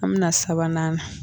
An bɛ na sabanan na